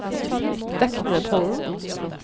Deknepollen